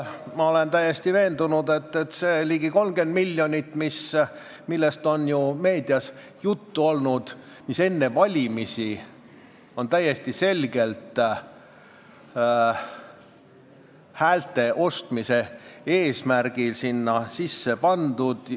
Ma olen täiesti veendunud, et see ligi 30 miljonit, millest on ju meedias juttu olnud, on enne valimisi häälte ostmise eesmärgil sisse pandud.